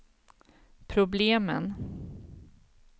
problemen